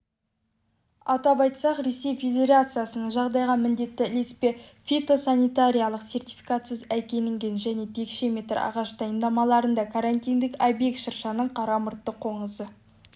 атап айтсақ ресей федерациясынан жағдайда міндетті ілеспе фитосанитариялық сертификатсыз әкелінген және текше метр ағаш дайындамаларында карантиндік объект шыршаның қара мұртты қоңызы